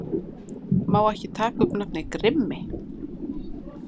Má ekki taka upp nafnið Grimmi